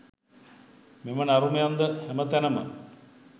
මෙම නරුමයන්ද හැම තැනම